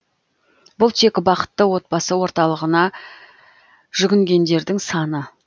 бұл тек бақытты отбасы орталығына жүгінгендердің саны